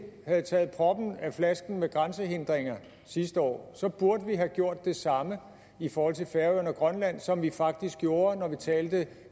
havde taget proppen af flasken med grænsehindringer sidste år burde vi have gjort det samme i forhold til færøerne og grønland som vi faktisk gjorde når vi talte